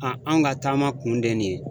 anw ka taama kun de ye nin ye.